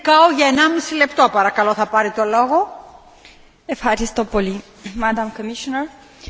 Decizia discutată astăzi instituie primul program european pentru politica în domeniul spectrului de frecvență radio.